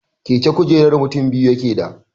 Keke kujerar mutin biyu yakeda